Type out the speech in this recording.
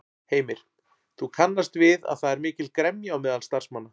Heimir: Þú kannast við að það er mikil gremja á meðal starfsmanna?